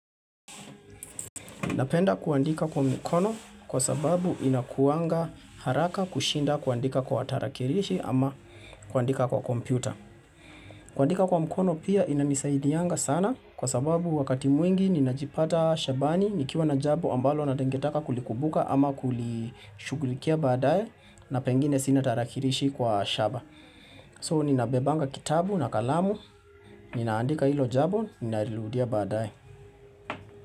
Napenda kuandika kwa mkono kwa sababu inakuanga haraka kushinda kuandika kwa tarakilishi ama kuandika kwa kompyuta. Kuandika kwa mkono pia inanisaidianga sana kwa sababu wakati mwingi ninajipata shambani nikiwa na jambo ambalo ningetaka kulikumbuka ama kulishugulikia baadaye na pengine sina tarakilishi kwa shamba. So ninabebanga kitabu na kalamu ninaandika ilo jambo ninaliludia baadaye.